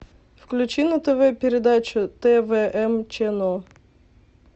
включи на тв передачу твм ченнел